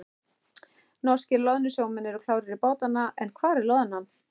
Norskir loðnusjómenn eru klárir í bátana en hvar er loðnan?